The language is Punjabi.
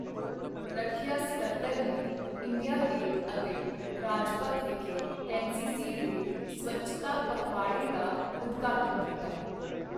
ਰੱਖਿਆ ਸਕੱਤਰ ਨੇ ਇੰਡੀਆ ਗੇਟ ਅਤੇ ਰਾਜਪਥ ਵਿਖੇ ਐਨਸੀਸੀ ਦੇ ਸਵੱਛਤਾ ਪਖਵਾੜੇ ਦਾ ਉਦਘਾਟਨ ਕੀਤਾ।